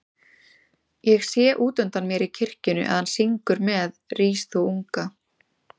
Ég sé útundan mér í kirkjunni að hann syngur með Rís þú unga